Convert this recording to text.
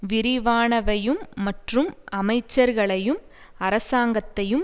விரிவானவையும் மற்றும் அமைச்சர்களையும் அரசாங்கத்தையும்